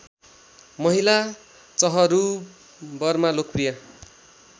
महिला चहरूबरमा लोकप्रिय